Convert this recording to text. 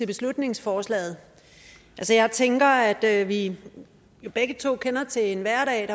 beslutningsforslaget jeg tænker at vi begge to kender til en hverdag